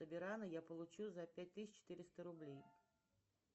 я получу за пять тысяч четыреста рублей